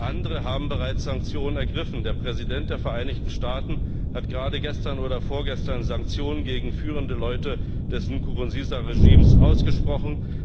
Andere haben bereits Sanktionen ergriffen Der Präsident der Vereinigten Staaten hat gerade gestern oder vorgestern Sanktionen gegen führende Leute des Nkurunziza Regimes ausgesprochen.